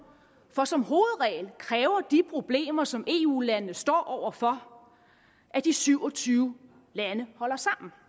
for som hovedregel kræver de problemer som eu landene står over for at de syv og tyve lande holder sammen